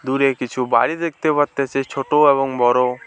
দূরে কিছু বাড়ি দেখতে পারতেছি ছোট এবং বড়।